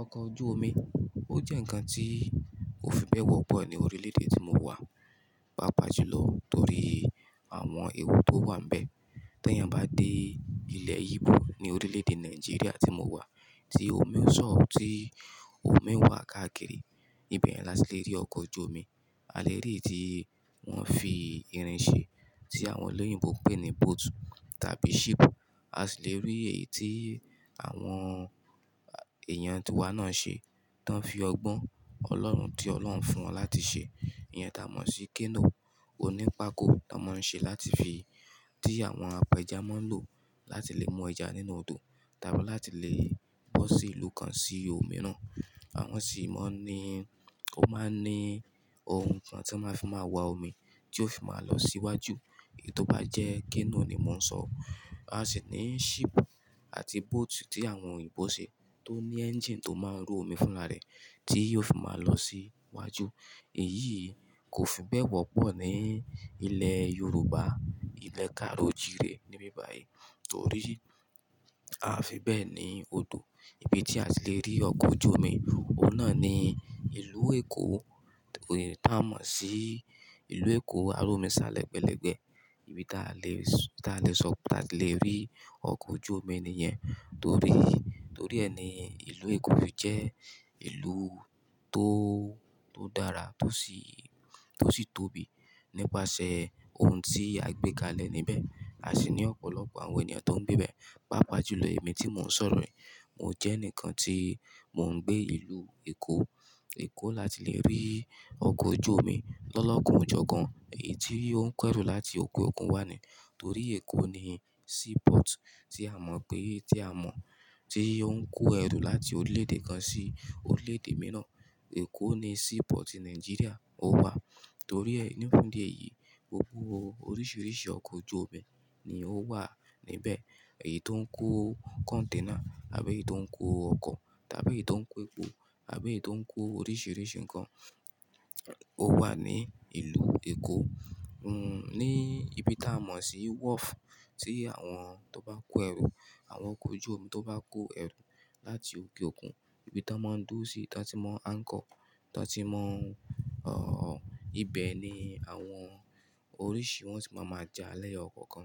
Ọkọ̀ ojú omi, ó jẹ́ ǹkan tí ò fi bẹ́ẹ̀ wọ́pọ̀ ní orílẹ̀ èdè tí mo wà, pàápàá jùlọ torí àwọn ewu tó wà níbẹ̀. Tẹ́yan bá dé ilẹ̀ Igbo ní orílẹ̀ èdè Nàìjíríà tí mo wà, tí omi ò sàn, tí omi wà káàkiri, ibẹ̀ ni a ti lè rí ọkọ̀ ojú omi. A lè rí èyí tí wọ́n fi irin ṣe tí àwọn olóyìnbo ń pè ní boat tàbí ship. A sì lè rí èyí tí àwọn èèyàn ti wá náà ṣe, tán fi ọgbọ́n ọlọ́run tí ọlọ́run fún wọn láti ṣe. Ìyẹn ta mọ̀ sí canoe. Ó ní pákó ton maa ń ṣe láti fi, tí àwọn apẹja máa ń lò láti lè mú ẹja nínú odò, tàbí láti lè bọ́ sí ìlú kan sí omi náà. Àwọn sì mọ̀ ní, ó máa ń ní ohun kan tí wọ́n máa ń fi máa wa omi tí ó fi máa lọ síwájú. Èyí tó bá jẹ́ canoe ni mo ń sọ. A sì ní ship àti boat tí àwọn òyìnbó ṣe tó ní engine tó máa ń ru omi fúnra rẹ̀ tí yóò fi máa lọ sí iwájú. Èyí kò fi bẹ́ẹ̀ wọ́pọ̀ ní ilẹ̀ Yorùbá, ilẹ̀ kaáròojìrè níbi báyìí torí a o fi bẹ́ẹ̀ ní odò. Ibi tí a lè rí ọkọ̀ ojú omi, ọ̀un naà ni ìlú Èkó, ta mọ̀ sí ìlú Èkó alòmíṣa lẹ̀gbẹlẹ̀gbẹ. Ibi táa lè sọ, táa lè sọ pé a lè rí ọkọ̀ ojú omi nìyẹn. Torí, torí ẹni ìlú Èkó fi jẹ́ ìlú tó, tó dára tó sì, tó sì tóbi nípasẹ̀ ohun tí a gbé kalẹ̀ níbẹ̀. A sì ní ọ̀pọ̀lọpọ̀ àwọn ènìyàn tó ń gbé bẹ́ẹ̀, pàápàá jùlọ èmi tí mò ń sọ̀rọ̀ yi. Mo jẹ́ ẹnìkan tí mò ń gbé ìlú Èkó. Èkó láti lè rí ọkọ̀ ojú omi lọ́lọ́kan ọjọ́ kan, èyí tí ó ń kó ẹrù láti òke òkun wá ni. Torí Èkó ni seaport tí a mọ̀ pé, tí a mọ̀, tí ó ń kó ẹrù láti orílẹ̀ èdè kan sí orílẹ̀ èdè mìíràn. Èkó ni seaport Nigeria ó wà. Torí ẹ́ ní fun dí èyí, gbogbo oríṣiríṣi ọkọ̀ ojú omi ni ó wà níbẹ̀. Èyí tó ń kó container àbí èyí tó ń kó ọkọ̀ tàbí èyí tó ń kó epo àbí èyí tó ń kó oríṣiríṣi nǹkan ó wà ní ìlú Èkó. Ní ibi táa mọ̀ sí wharf tí àwọn tó bá n kó ẹrù, àwọn ọkọ̀ ojú omi tó bá n kó ẹrù láti òke òkun, ibi tán máa ń dúró sí, tán ti máa n anchor, tán ti máa n, o, ibẹ̀ ni àwọn oríṣìí wọn tì máa ma ja lẹ́yọkọ̀okan.